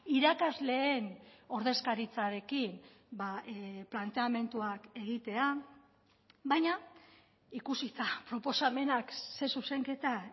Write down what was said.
irakasleen ordezkaritzarekin planteamenduak egitea baina ikusita proposamenak zein zuzenketa